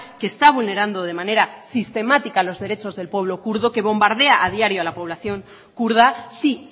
que está vulnerando de manera sistemática los derechos del pueblo kurdo que bombardea a diario a la población kurda sí